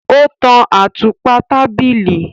O tàn àtùpà tábìlì